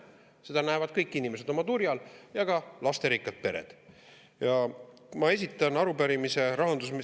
Seda näevad oma turjal kõik inimesed ja ka lasterikkad pered.